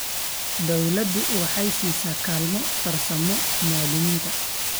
Dawladdu waxay siisaa kaalmo farsamo muwaadiniinta.